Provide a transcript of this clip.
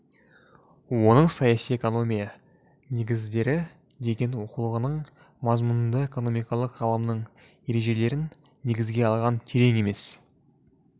оның саяси экономия негіздері деген оқулығының мазмұнында экономикалық ғылымының ережелерін негізге алған терең емес